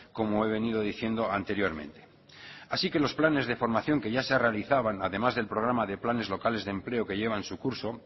como he venido diciendo anteriormente así que los planes de formación que ya se realizaban además del programa de planes locales de empleo que llevan su curso